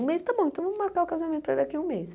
Um mês, tá bom, então vamos marcar o casamento daqui a um mês.